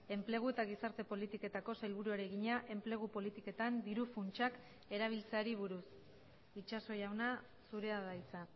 enplegu eta gizarte politiketako sailburuari egina enplegu politiketan diru funtsak erabiltzeari buruz itxaso jauna zurea da hitza